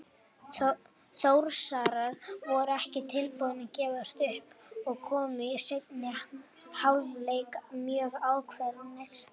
Þórsarar voru ekki tilbúnir að gefast upp og komu í seinni hálfleik mjög ákveðnir.